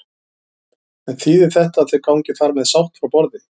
En þýðir þetta að þau gangi þar með sátt frá borði?